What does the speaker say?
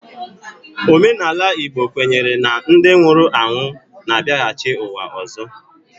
Omenala Igbo kwenyere na ndị nwụrụ anwụ na-abiaghachi uwa ọzọ